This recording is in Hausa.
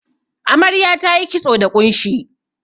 Amarya tayi kitso da ƙunshi.